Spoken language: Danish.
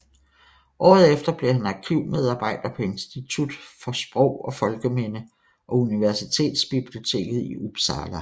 Året efter blev han arkivmedarbejder på Institutet for sprog og folkeminde og universitetsbiblioteket i Uppsala